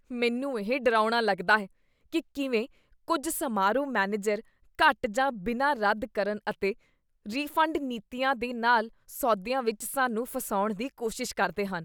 ਮੈਨੂੰ ਇਹ ਡਰਾਉਣਾ ਲੱਗਦਾ ਹੈ ਕੀ ਕਿਵੇਂ ਕੁੱਝ ਸਮਾਰੋਹ ਮੈਨੇਜਰ ਘੱਟ ਜਾਂ ਬਿਨਾਂ ਰੱਦ ਕਰਨ ਅਤੇ ਰਿਫੰਡ ਨੀਤੀਆਂ ਦੇ ਨਾਲ ਸੌਦਿਆ ਵਿੱਚ ਸਾਨੂੰ ਫਸਾਉਣ ਦੀ ਕੋਸ਼ਿਸ਼ ਕਰਦੇ ਹਨ।